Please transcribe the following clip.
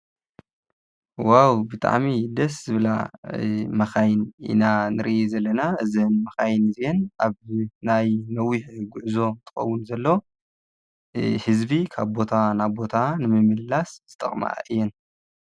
ዋው ብጣዕሚ ደስ ዝብላ መካይን ኢና ንሪኢ ዘለና እዘን መካይን እዝይኤን ኣብ ናይ ነዊሕ ጉዕዞ እንትከውን እንተሎ ህዝቢ ካብ ቦታ ናብ ቦታ ንምምልላስ ዝጠቅማ እየን።